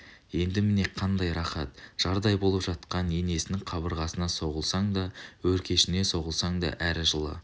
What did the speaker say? енді міне қандай рақат жардай болып жатқан енесінің қабырғасына соғылсаң да өркешіне соғылсаң да әрі жылы